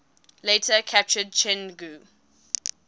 later captured chengdu